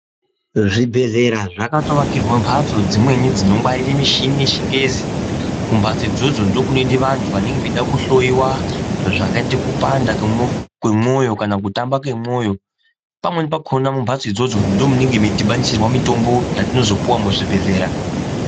Zvibhedhlera zvatoakirwe mbatso dzimweni dzino ngwaririrwe michini yechingezi. Mumbatso idzodzo ndiko kunoende antu anonge echide kuhloiwa zvakaite kupanda kwemwoyo kana kutamba kwemwoyo pamweni pakhona mumbatso idzodzo ndimwo munonga mwei dhibanisirwe mitombo yetinozopuwa muzvibhedhlera.